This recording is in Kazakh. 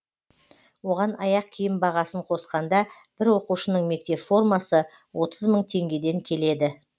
оған аяқ киім бағасын қосқанда бір оқушының мектеп формасы отыз мың теңгеден келеді